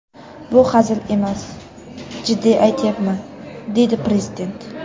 Bu hazil emas, jiddiy aytyapman”, dedi prezident.